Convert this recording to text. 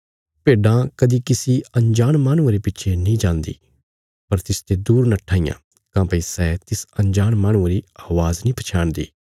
भेड्डां कदीं किसी अंजाण माहणुये रे पिच्छे नीं जान्दी पर तिसते दूर नट्ठा इयां काँह्भई सै तिस अंजाण माहणुये री अवाज़ नीं पछयाणदी